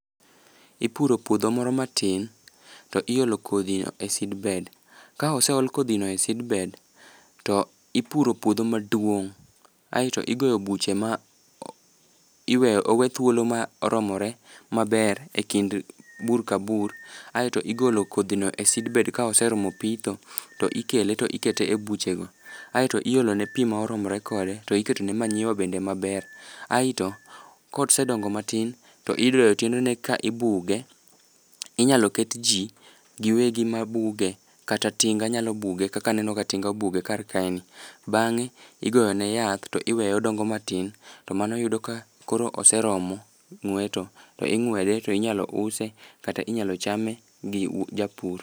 Ipuro pwodho moro matin, to iolo kodhi no e seedbed. Ka oseol kodhi no e seedbed, to ipuro puodho maduong' aeto igoyo buche ma iweyo owe thuolo ma oromore maber e kind bur ka bur, aeto igolo kodhi no e seedbed ka oseromo pitho to ikele to ikete e buchego. Aeto iolo ne pii ma oromore kode to iketo ne manyiwa bende maber. Aito, kosedongo matin, to idoyo tiendene to ibuge. Inyalo ket jii giwegi mabuge, kata tinga nyalo buge kaka aneno ka tinga obuge kar ka ni. Bang'e, igoyo ne yath to iweye odongo matin, to mano yudo ka koro oseromo ng'weto. To ing'wede kata inyalo use kata inyalo chame gi japur